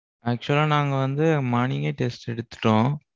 actual லா நாங்க வந்து morning யே test எடுத்துட்டோம்.